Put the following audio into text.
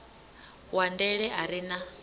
wa ndele a re na